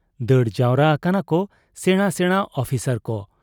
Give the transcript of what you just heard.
ᱫᱟᱹᱲ ᱡᱟᱣᱨᱟ ᱟᱠᱟᱱᱟᱠᱚ ᱥᱮᱬᱟ ᱥᱮᱬᱟ ᱚᱯᱷᱤᱥᱚᱨ ᱠᱚ ᱾